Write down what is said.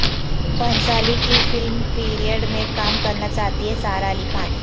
بھنسالی کی film period میں کام کرنا چاہتی ہے سارہ علی خان